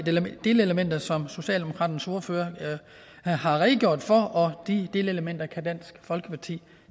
delelementer som socialdemokratiets ordfører har redegjort for og de delelementer kan dansk folkeparti